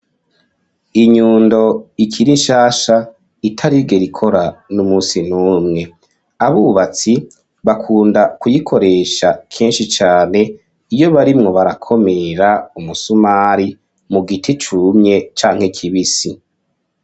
Inyundo, ikiri nshasha, itarigera ikora, n'umunsi n'umwe; abubatsi, bakunda kuyikoresha, kenshi cane, iyo barimwo barakomera, umusumari, mu giti cumye, canke kibisi.